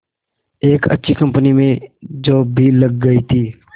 एक अच्छी कंपनी में जॉब भी लग गई थी